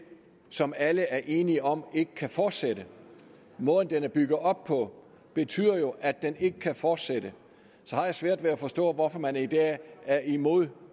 som alle er enige om ikke kan fortsætte måden den er bygget op på betyder jo at den ikke kan fortsætte så jeg har svært ved at forstå hvorfor man i dag er imod